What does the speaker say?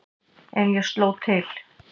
En ég sló til.